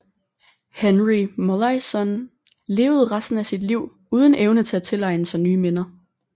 Henry Molaison levede resten af sit liv uden evne til at tilegne sig nye minder